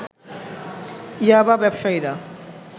ইয়াবা ব্যবসায়ীরা